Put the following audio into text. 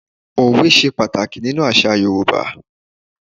Òwe se pàtàkì nínú àsà Yorùbá